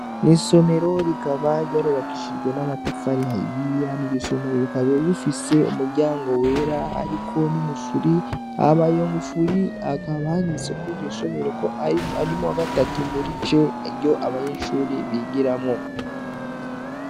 Mwisomero rikaba yarubakishijwe n'amatafari ahiye hama iryo somero rikaba rifise umuryango wera hariko n'ingufuri hama iyo ngufuri hakaba handitseko iryo shuri ari mu wagatatu muri c abanyeshure bigiramwo.